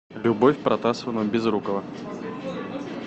любовь протасовна безрукова